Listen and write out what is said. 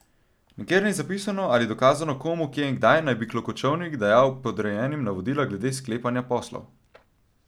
Nikjer ni zapisano ali dokazano, komu, kje in kdaj naj bi Klokočovnik dajal podrejenim navodila glede sklepanja poslov.